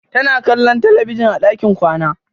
Tana kwallon talabijin a ɗakin kwana.